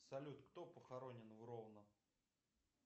салют кто похоронен в ровно